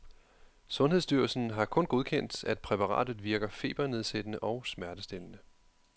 Sundhedsstyrelsen har kun godkendt, at præparatet virker febernedsættende og smertestillende.